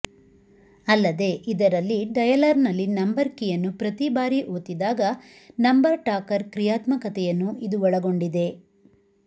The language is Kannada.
ಅಲ್ಲದೆ ಇದರಲ್ಲಿ ಡಯಲರ್ನಲ್ಲಿ ನಂಬರ್ ಕೀಯನ್ನು ಪ್ರತಿ ಬಾರಿ ಒತ್ತಿದಾಗ ನಂಬರ್ ಟಾಕರ್ ಕ್ರಿಯಾತ್ಮಕತೆಯನ್ನು ಇದು ಒಳಗೊಂಡಿದೆ